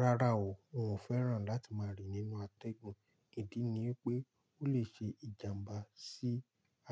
Rárá o, n ò fẹ́ràn láti máa rìn nínú atẹ́gùn. Ìdí ni pé ó lè ṣe ìjàmbá sí